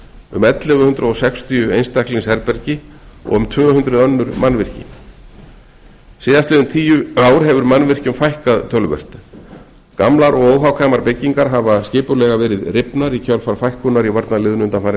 um ellefu hundruð sextíu einstaklingsherbergi og um tvö hundruð önnur mannvirki síðastliðin tíu ár hefur mannvirkjum fækkað töluvert gamlar og óhagkvæmar byggingar hafa verið skipulega rifnar í kjölfar fækkunar í varnarliðinu undanfarin